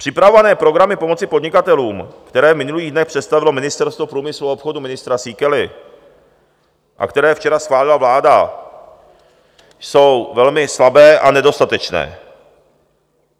Připravované programy pomoci podnikatelům, které v minulých dnech představilo Ministerstvo průmyslu a obchodu ministra Síkely a které včera schválila vláda, jsou velmi slabé a nedostatečné.